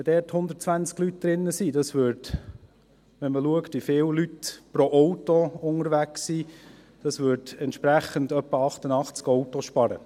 Wenn dort 120 Leute drin sind und man sieht, wie viele Leute pro Auto unterwegs sind, würde das entsprechend etwa 88 Autos sparen.